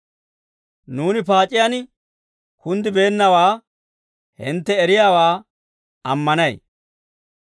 Nuuni paac'iyaan kunddibeennawaa hintte eriyaawaa ammanay.